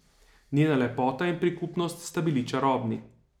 Njena lepota in prikupnost sta bili čarobni.